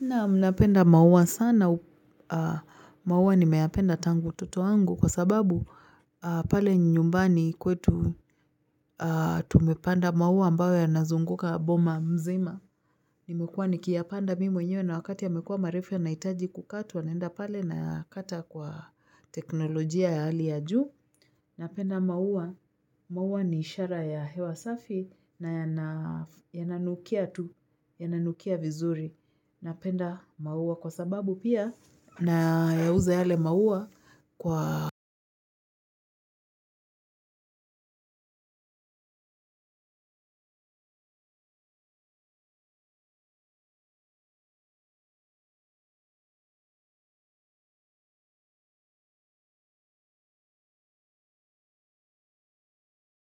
Naam napenda maua sana maua nimeyapenda tangu utoto wangu kwa sababu pale nyumbani kwetu tumepanda maua ambayo yanazunguka boma mzima. Nimekuwa nikiyapanda mimi mwenyewe na wakati yamekuwa marefu yanahitaji kukatwa naenda pale na kata kwa teknolojia ya hali ya juu. Napenda maua. Maua ni ishara ya hewa safi na yananukia tu. Yananukia vizuri. Napenda maua kwa sababu pia nayauza yale maua kwa